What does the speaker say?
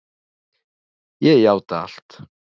Ég játa allt